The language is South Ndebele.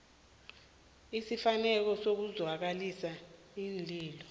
ezifaneleko ukuzwakalisa iinlilo